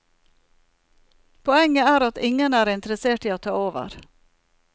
Poenget er at ingen er interessert i å ta over.